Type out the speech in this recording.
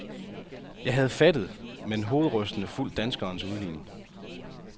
Jeg havde fattet, men hovedrystende, fulgt danskerens udligning.